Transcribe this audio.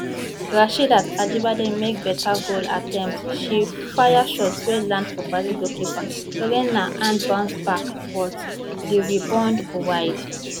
rasheedat ajibade make beta goal attempt she fire shot wey land for brazil goalkeeper lorena hand bounce back but di rebound go wide